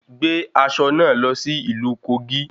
Gbé aṣọ náà lọ sí ìlú Kogi